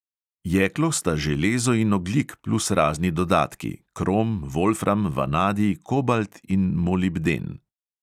Jeklo sta železo in ogljik plus razni dodatki: krom, volfram, vanadij, kobalt in molibden.